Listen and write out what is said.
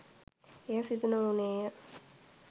එය සිදු නොවුණේය